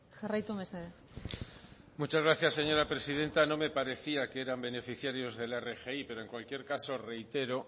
jarraitu mesedez muchas gracias señora presidenta no me parecía que eran beneficiarios de la rgi pero en cualquier caso reitero